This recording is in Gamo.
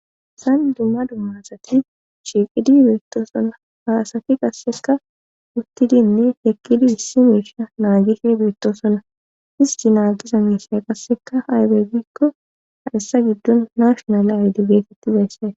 haysan dumma dumma asati shiiqidi beettosonna haasati qasseka uttidinne heqqidi issi meisha naagishi beettosona histi naagi zannisay qasseka aybe gikko ha essa giddon nashonale ayde geetettizayssay.